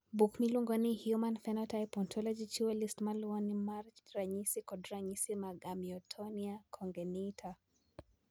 Buk miluongo ni Human Phenotype Ontology chiwo list ma luwoni mar ranyisi kod ranyisi mag Amyotonia congenita.